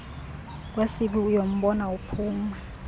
esibi uyambona uphumi